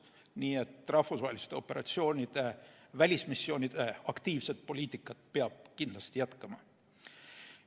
Nii et rahvusvaheliste operatsioonide ja välismissioonide aktiivset poliitikat peab kindlasti jätkama.